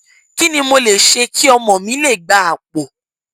kí ni mo lè ṣe kí ọmọ mi lè gba àpò